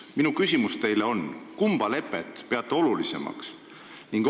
Minu küsimus teile on selline: kumba lepet te peate olulisemaks?